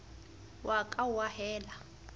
o a ka wa ahela